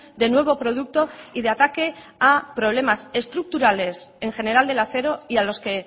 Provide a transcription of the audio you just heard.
de nuevo producto y de ataque a problemas estructurales en general del acero y a los que